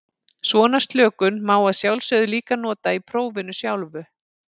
Svona slökun má að sjálfsögðu líka nota í prófinu sjálfu.